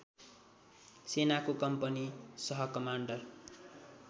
सेनाको कम्पनी सहकमान्डर